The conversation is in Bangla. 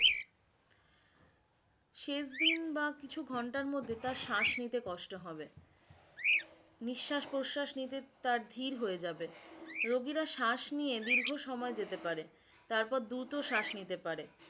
শেষ দিন বা কিছু ঘন্টার মধ্যে তার শ্বাস নিতে কষ্ট হবে নিস্বাশ প্রস্বাস নিতে তার ধীর হয়ে যাবে, রোগীরা শ্বাস নিয়ে দীর্ঘ সময় যেতে পারে তারপর দ্রুত শ্বাস নিতে পারে